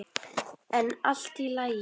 En allt í lagi.